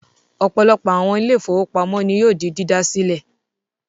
Ọ̀pọ̀lọpọ̀ àwọn ile-ìfowópamó ní yóò di dídásílẹ̀